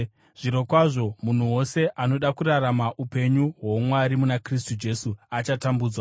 Zvirokwazvo munhu wose anoda kurarama upenyu hwoumwari muna Kristu Jesu achatambudzwa,